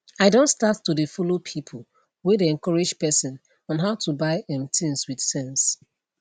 i don start to dey follow people whey dey encourage person on how to buy um things with sense